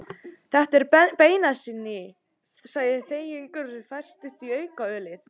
Þetta er beinasni, sagði Þingeyingur og hafði færst í aukana við ölið.